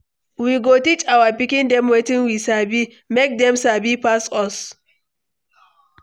We go teach our pikin dem wetin we sabi, make dem sabi pass us.